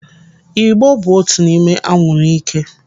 Ị̀gbò bụ otu n'ime anwụrụ ike.